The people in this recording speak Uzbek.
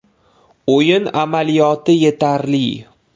O‘yin amaliyoti yetarli.